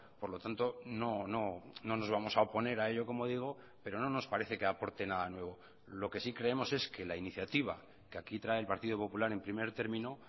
por lo tanto no nos vamos a oponer a ello como digo pero no nos parece que aporten nada nuevo lo que sí creemos es que la iniciativa que aquí trae el partido popular en primer término